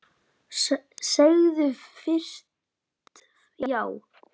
Segðu fyrst já!